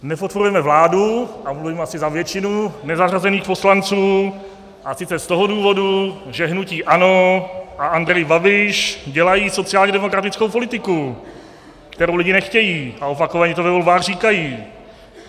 Nepodporujeme vládu, a mluvím asi za většinu nezařazených poslanců, a sice z toho důvodu, že hnutí ANO a Andrej Babiš dělají sociálně demokratickou politiku, kterou lidi nechtějí, a opakovaně to ve volbách říkají.